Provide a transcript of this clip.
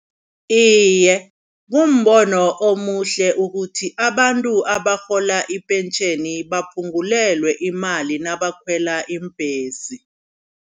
Iye kumbono omuhle ukuthi abantu abarhola ipentjheni baphungulelwe imali nabakhwela iimbhesi.